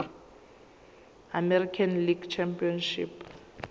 american league championship